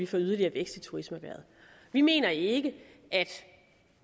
få yderligere vækst i turismeerhvervet vi mener ikke